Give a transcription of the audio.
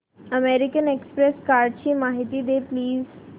American Express कार्डची माहिती दे प्लीज